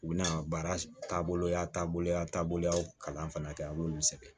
U bɛna baara taaboloya taabolo ya taabolo y'a kalan fana kɛ a b'olu sɛgɛn